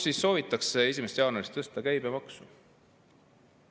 … millega soovitakse 1. jaanuarist tõsta käibemaksu.